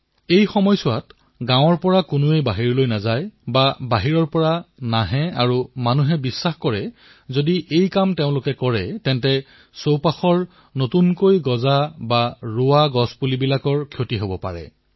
এই সময়ছোৱাত না কোনো গাঁৱলৈ আহে আৰু না কোনোবাই নিজৰ ঘৰৰ পৰা বাহিৰলৈ ওলায় আৰু জনসাধাৰণে এইদৰে ভাবে যে বাহিৰলৈ অহাযোৱা কৰিলে আৰু দৈনন্দিন কৰ্মৰ দ্বাৰা নতুন পুলিপোখাই কষ্ট পাব পাৰে